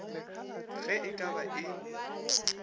ge e ka ba e